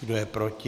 Kdo je proti?